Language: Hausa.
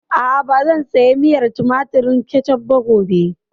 A'a, ba zan saya miyar tumatir (Ketchup) ba gobe